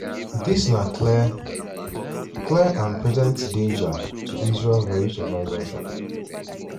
dis na clear clear and present danger to israel veri survival." um